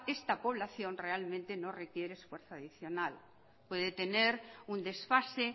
esta población realmente no requiere esfuerzo adicional puede tener un desfase